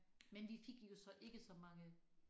Men vi fik jo så ikke så mange